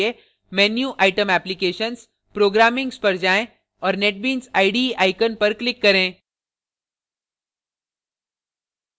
menu item applications programmings पर जाएँ और netbeans ide icon पर click करें